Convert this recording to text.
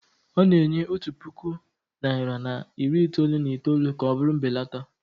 ọ na-enye otu puku naịra na iri itoolu na itoolu ka ọ bụrụ mbelata